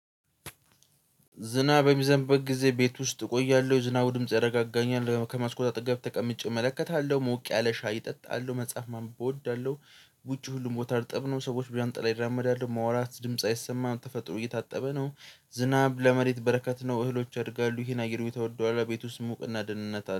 ዝናብ በሚዘንብበት ጊዜ ቤት ውስጥ እቆያለው የዝናቡ ድምጽ ያረጋጋኛል ያው ከመስኮት አጠገብ ተቀምጬ እመለከታለው ሞቅ ያለ ሻይ እጠጣለው መጽሐፍ ማንበብ እወዳለው። ውጪ ሁሉም ቦታ እርጥብ ነው። ሰዎች በዣንጥላ ይራመዳሉ መዋራት ድምጽ አይሰማም ተፈጥሮ እየታጠበ ነው። ዝናብ ለመሬት በረከት ነው። እህሎች ያድጋሉ ይሄን የአየር ሁኔታ ወደዋለው። ቤት ውስጥ ሙቅና ደንነት